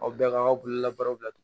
Aw bɛɛ ka bololabaaraw la